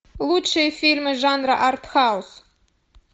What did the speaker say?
лучшие фильмы жанра артхаус